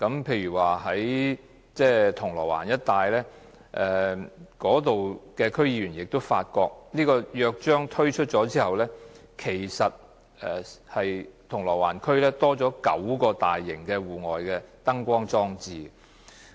例如銅鑼灣的區議員發覺推出《約章》之後，銅鑼灣區反為增加了9個大型戶外燈光裝置。